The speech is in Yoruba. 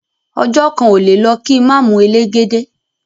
Ọjo kan ole le lo ki ma mu elegede